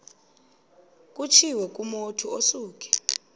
kutshiwo kumotu osuke